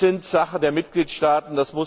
Diese sind Sache der Mitgliedstaaten.